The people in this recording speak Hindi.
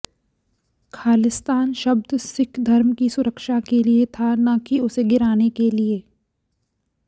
खालिस्तान शब्द सिख धर्म की सुरक्षा के लिए था न कि उसे गिराने के लिए